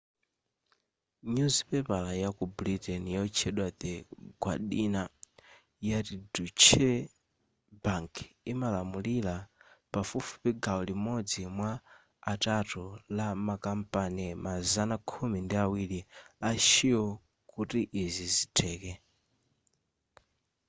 nyuzipepala ya ku britain yotchedwa the guardina yati deutsche bank imalamulira pafupifupi gawo limodzi mwa atatu la ma kampani mazana khumi ndi awiri a shell kuti izi zitheke